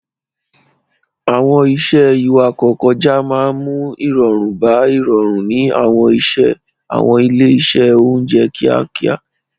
Àwọn iṣẹ́ ìwakọ̀-kọjá máa ń mú ìrọ̀rùn bá ìrọ̀rùn ní àwọn ilé-iṣẹ́ oúnjẹ kíákíá.